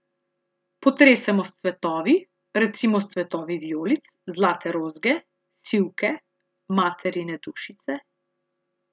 Potresemo s cvetovi, recimo s cvetovi vijolic, zlate rozge, sivke, materine dušice ...